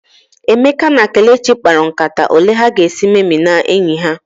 Emeka na Kelechi mkparu nkata ole ha ga esị meminaa enyi ha